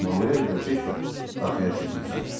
Manuel və Cek də arxaya keçmişdilər.